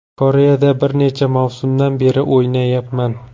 Koreyada bir necha mavsumdan beri o‘ynayapman.